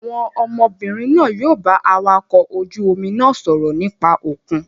Àwọn ọmọbìnrin náà yóò bá awakọ̀ ojú-omi náà sọ̀rọ̀ nípa òkun.